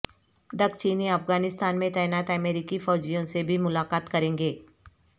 ڈک Cheney Afghanistan میں تعینات امریکی فوجیوں سے بھی ملاقات کریں گے